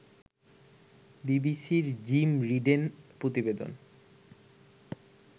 বিবিসির জিম রিডের প্রতিবেদন